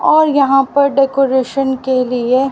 और यहां पर डेकोरेशन के लिए--